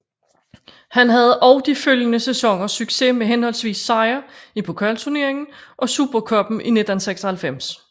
Han havde også de følgende sæsoner succes med henholdsvis sejr i pokalturneringen og supercuppen i 1996